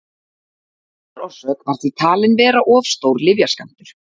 dánarorsök var því talin vera of stór lyfjaskammtur